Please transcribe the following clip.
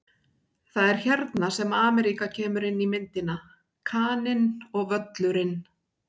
Það er hérna sem Ameríka kemur inn í myndina: Kaninn og Völlurinn.